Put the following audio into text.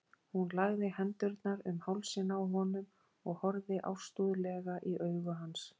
Hún lagði hendurnar um hálsinn á honum og horfði ástúðlega í augu hans.